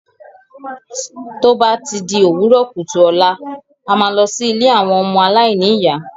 Tó bá ti di òwúrọ̀ kùtù ọ̀la,a máa lọ sí ilé àwọn ọmọ aláìní ìyá.